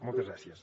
moltes gràcies